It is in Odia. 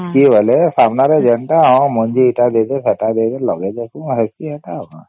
ଏଠିକି ଗଲେ ସାମ୍ନା ରେ ଯେନ୍ତା ମଞ୍ଜି ଏଟା ଦେଇଦେ ସେଟା ଦେଇଦେ ଲଗେଇଦେଶେ ହେଇସି ସେଟା ଆଉ କଣ